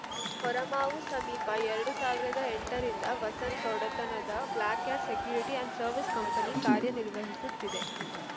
ಹೊರಮಾವು ಸಮೀಪ ಎರಡ್ ಸಾವಿರದ ಎಂಟರಿಂದ ವಸಂತ್‌ ಒಡೆತನದ black cat security and services company ಕಾರ್ಯನಿರ್ವಹಿಸುತ್ತಿದೆ